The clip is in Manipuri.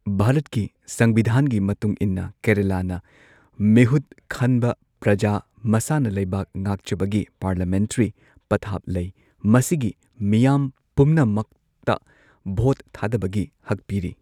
ꯚꯥꯔꯠꯀꯤ ꯁꯪꯕꯤꯙꯥꯟꯒꯤ ꯃꯇꯨꯡ ꯏꯟꯅ, ꯀꯦꯔꯂꯥꯅꯥ ꯃꯤꯍꯨꯠ ꯈꯟꯕ ꯄ꯭ꯔꯖꯥ ꯃꯁꯥꯅ ꯂꯩꯕꯥꯛ ꯉꯥꯛꯆꯕꯒꯤ ꯄꯥꯔꯂꯤꯌꯥꯃꯦꯟꯇ꯭ꯔꯤ ꯄꯊꯥꯞ ꯂꯩ꯫ ꯃꯁꯤꯒꯤ ꯃꯤꯌꯥꯝ ꯄꯨꯝꯅꯃꯛꯇ ꯚꯣꯠ ꯊꯥꯗꯕꯒꯤ ꯍꯛ ꯄꯤꯔꯤ꯫